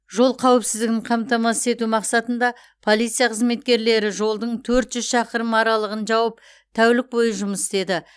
жол қауіпсіздігін қамтамасыз ету мақсатында полиция қызметкерлері жолдың төрт жүз шақырым аралығын жауып тәулік бойы жұмыс істеді